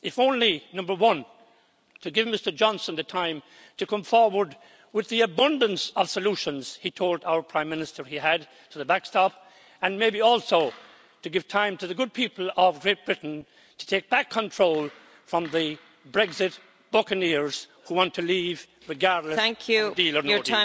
If only, number one, to give Mr Johnson the time to come forward with the abundance of solutions he told our Prime Minister he had for the backstop, and maybe also to give time to the good people of Great Britain to take back control from the Brexit buccaneers who want to leave, regardless of deal or no